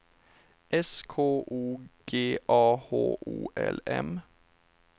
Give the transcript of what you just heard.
S K O G A H O L M